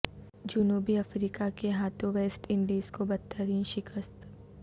جنوبی افریقہ کے ہاتھوں ویسٹ انڈیز کو بدترین شکست